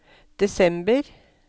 desember